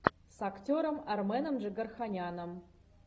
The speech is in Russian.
с актером арменом джигарханяном